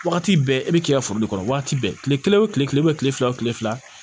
Wagati bɛɛ e bɛ k'i ka foro de kɔnɔ waati bɛɛ tile kelen o tile bɛ kile fila o kile fila